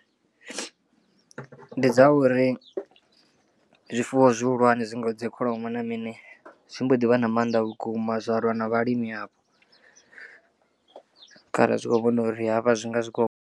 Ndi dza uri zwifuwo zwihulwane zwi ngaho dzi kholomo na mini zwi mbo ḓi vha na mannḓa vhukuma zwa lwa na vhalimi avho kharali zwi kho vhona uri hafha zwi nga zwi kho.